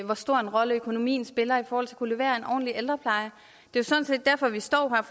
hvor stor en rolle økonomien spiller i forhold til at kunne levere en ordentlig ældrepleje det er sådan set derfor vi står her